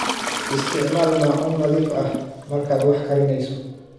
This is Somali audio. Isticmaal maacuun nadiif ah markaad wax karinayso.